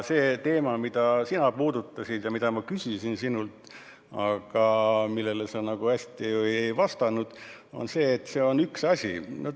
See teema, mida sina puudutasid ja mille kohta ma sinult küsisin, aga sa nagu hästi ei vastanud, on üks asi.